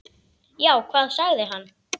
Já, hvað sagði hann?